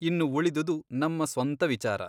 ಇನ್ನು ಉಳಿದುದು ನಮ್ಮ ಸ್ವಂತ ವಿಚಾರ.